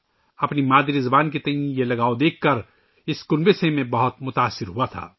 اپنی مادری زبان سے ، اُن کی محبت کو دیکھ کر میں اس خاندان سے بہت متاثر ہوا تھا